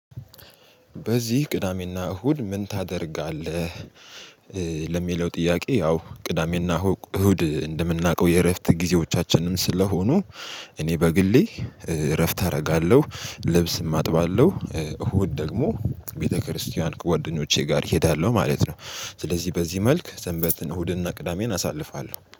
በዚህ ቅዳሜና እሁድ ምን ታደርጋለህ? ለሚለው ጥያቄ ያው ቅዳሜና እሁድ እንደምናውቀው የእረፍት ጊዜዎቻችንም ስለሆኑ እኔ በግሌ እረፍት አደርጋለሁ። ልብስም አጥባለሁ እሁድ ደግሞ ቤተክርስቲያን ጓደኞቼ ጋር እሄዳለሁ ማለት ነው። ስለዚህ በዚህ መልክ ሰንበትን እሁድና ቅዳሜን አሳልፋለሁ